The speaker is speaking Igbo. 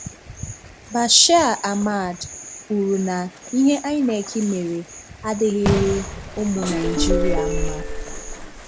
Bashir Ahmad kwùrù na ihe INEC mere adịghịrị ụmụ Naịjíríà mma.